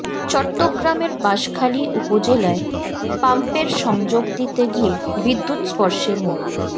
চট্টগ্রামের বাঁশখালী উপজেলায় পাম্পের সংযোগ দিতে গিয়ে বিদ্যুৎস্পর্শে মো